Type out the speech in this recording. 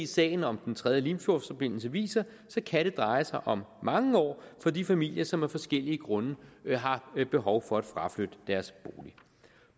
sagen om den tredje limfjordsforbindelse viser kan det dreje sig om mange år for de familier som af forskellige grunde har behov for at fraflytte deres